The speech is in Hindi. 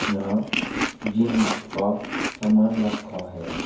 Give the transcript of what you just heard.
यहां जिम का सामान रखा है।